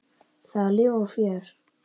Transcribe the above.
Það var líf og fjör.